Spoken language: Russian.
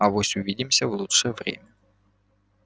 авось увидимся в лучшее время